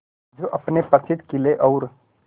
जो अपने प्रसिद्ध किले और